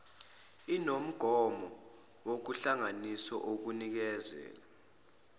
inomgomo ohlanganisiwe owukunikeza